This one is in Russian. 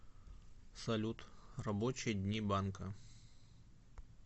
салют рабочие дни банка